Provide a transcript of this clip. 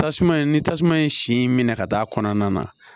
Tasuma in ni tasuma ye sin minɛ ka taa kɔnɔna na